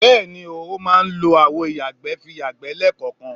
Bé̩è̩ni ooo, o máa ń lo àwo ìyàgbẹ́ fi yàgbé̩ lé̩kò̩ò̩kan